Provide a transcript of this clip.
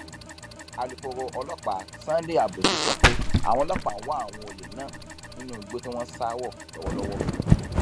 alūkkóró ọlọpàá sunday abutu sọ pé àwọn ọlọpàá ń wá àwọn olè náà nínú igbó tí wọn sá wọ lọwọlọwọ